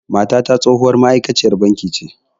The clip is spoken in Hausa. Matata tsohuwar ma'aikaciyar banki ce